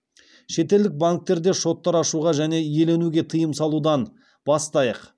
шетелдік банктерде шоттар ашуға және иеленуге тыйым салудан бастайық